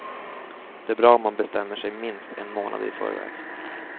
Det är bra om man bestämmer sig minst en månad i förväg.